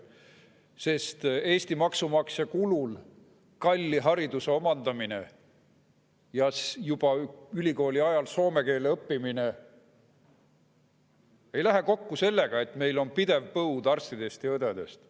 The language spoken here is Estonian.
Eesti maksumaksja kulul kalli hariduse omandamine ja juba ülikooli ajal soome keele õppimine ei lähe kokku sellega, et meil on pidev arstide ja õdede põud.